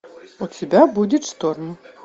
у тебя будет шторм